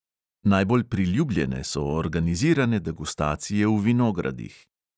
Najbolj priljubljene so organizirane degustacije v vinogradih.